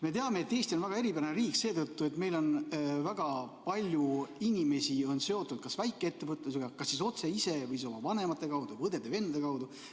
Me teame, et Eesti on väga eripärane riik seetõttu, et meil on väga palju inimesi, kes on seotud väikeettevõtlusega, kas siis otse või oma vanemate või õdede-vendade kaudu.